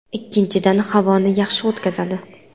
Ikkinchidan, havoni yaxshi o‘tkazadi.